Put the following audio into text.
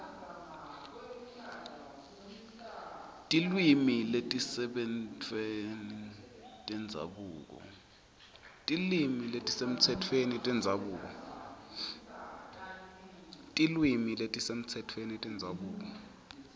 tilwimi letisemtsetfweni tendzabuko